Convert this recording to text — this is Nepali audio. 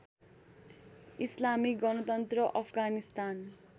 इस्लामिक गणतन्त्र अफगानिस्तान